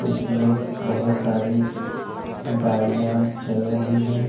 इसमें बहोत सारी गाड़ियां चल रही हैं।